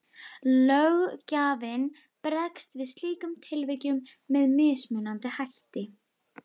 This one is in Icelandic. Löggjafinn bregst við slíkum tilvikum með mismunandi hætti.